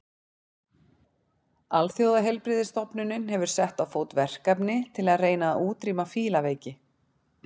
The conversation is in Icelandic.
Alþjóðaheilbrigðisstofnunin hefur sett á fót verkefni til að reyna að útrýma fílaveiki.